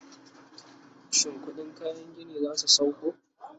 shin ƙuɗin kayan gini zasu sauko?